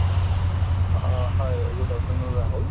অ, হয় good afternoon Rahul